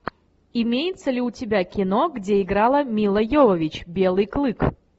имеется ли у тебя кино где играла мила йовович белый клык